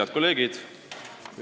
Head kolleegid!